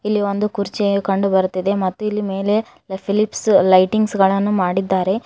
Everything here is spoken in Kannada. ಇಲ್ಲಿ ಒಂದು ಕುರ್ಚಿಯ ಕಂಡು ಬರ್ತಿದೆ ಮತ್ತು ಇಲ್ಲಿ ಮೇಲೆ ಫಿಲಿಪ್ಸ್ ಲೈಟಿಂಗ್ಸ್ ಗಳನ್ನು ಮಾಡಿದ್ದಾರೆ.